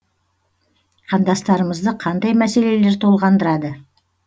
қандастырымызды қандай мәселелер толғандырады